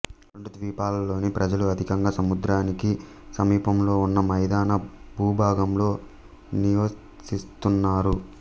రెండు ద్వీపాలలోని ప్రజలు అధికంగా సముద్రానికి సమీపంలో ఉన్న మైదాన భూభాగంలో నిచసిస్తున్నారు